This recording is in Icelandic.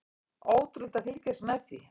Ótrúlegt að fylgjast með því.